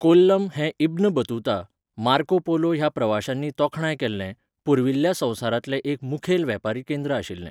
कोल्लम हें Ibn Battuta, Marco Polo ह्या प्रवाशांनी तोखणाय केल्लें, पुर्विल्ल्या संवसारांतलें एक मुखेल वेपारी केंद्र आशिल्लें,